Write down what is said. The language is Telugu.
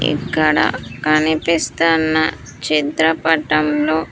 ఇక్కడ కనిపిస్తున్న చిత్రపటంలో.